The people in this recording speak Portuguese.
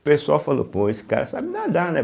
O pessoal falou, pô, esse cara sabe nadar, né?